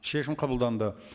шешім қабылданды